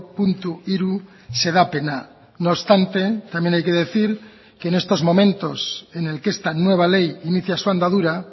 puntu hiru xedapena no obstante también hay que decir que en estos momentos en el que esta nueva ley inicia su andadura